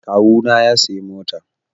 Kawu na ya sayi mota